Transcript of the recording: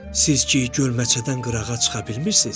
Siz ki, gölməçədən qırağa çıxa bilmirsiniz.